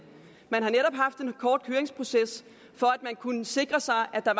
man har netop haft en kort høringsproces for at kunne sikre sig at der